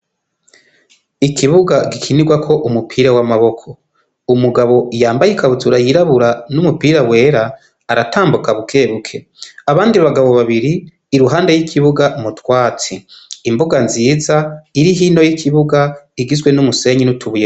Ikibuga gikinirwako umupira w'amaboko. Umugabo yambaye ikabutura yirabura n'umupira wera aratambuka bukebuke, abandi bagabo babiri iruhande y'ikibuga mu twatsi. Imbuga nziza iri hino y'ikibuga, igizwe n'umusenyi n'utubuye.